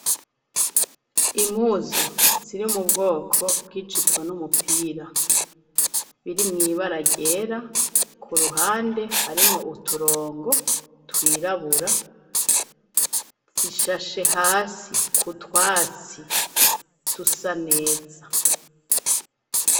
Impuzu ziri mu bwoko bw'ijipo n'umupira biri muibaragera ku ruhande harimwo uturongo twirabura zishashe hasi ku twasi tusaneza.